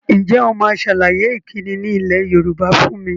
Ǹjẹ́ o máa sàlàyé ìkíni ni ilẹ̀ Yorùbá fún mi?